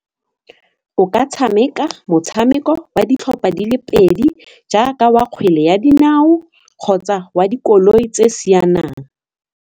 O ka tshameka motshameko wa ditlhopha di le pedi jaaka wa kgwele ya dinao kgotsa wa dikoloi tse sianang.